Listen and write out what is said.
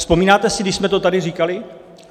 Vzpomínáte si, když jsme to tady říkali?